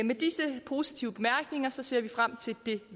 med disse positive bemærkninger ser vi frem til det